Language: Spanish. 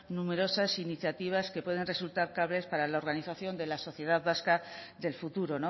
numerosas iniciativas que pueden resultar claves para la organización de la sociedad vasca del futuro